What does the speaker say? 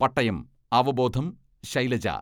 പട്ടയം അവബോധം ശൈലജ.